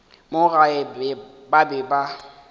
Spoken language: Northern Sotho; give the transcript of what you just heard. mo gae ba be ba